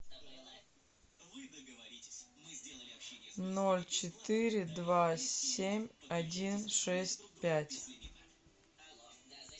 ноль четыре два семь один шесть пять